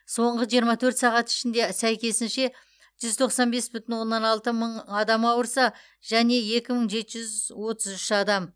соңғы жиырма төрт сағат ішінде сәйкесінше жүз тоқсан бес бүтін оннан алты мың ауырса және екі мың жеті жүз отыз үш адам